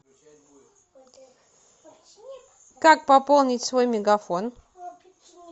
как пополнить свой мегафон